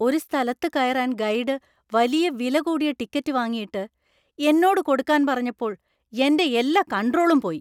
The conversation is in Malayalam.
ഒരു സ്ഥലത്ത് കയറാൻ ഗൈഡ് വിലകൂടിയ ടിക്കറ്റ് വാങ്ങിയിട്ട് എന്നോട് കൊടുക്കാൻ പറഞ്ഞപ്പോൾ എൻ്റെ എല്ലാ കണ്ട്രോളും പോയി.